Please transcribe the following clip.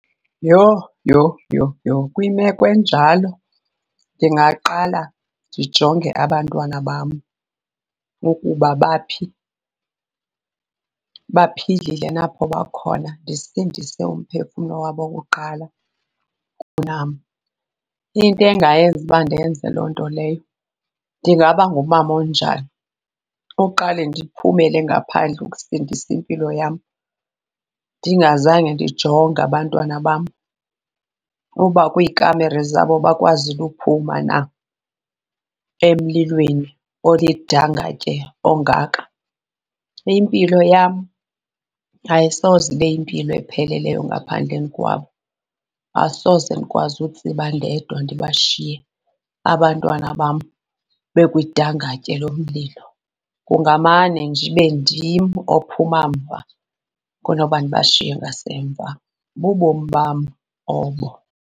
Yho, yho yho yho! Kwimeko enjalo ndingaqala ndijonge abantwana bam ukuba baphi, baphilile na apho bakhona, ndisindise umphefumlo wabo kuqala kunam. Into engayenza uba ndenze loo nto leyo, ndingaba ngumama onjani oqale ndiphumele ngaphandle ukusindisa impilo yam ndingazange ndijonge abantwana bam uba kwiikamere zabo bakwazile ukuphuma na emlilweni olidangatye ongaka? Impilo yam ayisoze ibe yimpilo epheleleyo ngaphandleni kwabo. Asoze ndikwazi utsiba ndedwa ndibashiye abantwana bam bekwidangatye lomlilo, kungamane nje ibe ndim ophuma mva kunokuba ndibashiye ngasemva. Bububomi bam obo.